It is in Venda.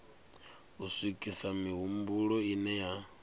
u swikisa mihumbulo ine ya